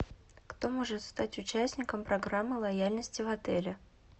кто может стать участником программы лояльности в отеле